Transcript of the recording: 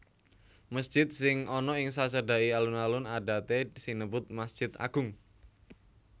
Mesjid sing ana ing sacedhaké alun alun adaté sinebut masjid agung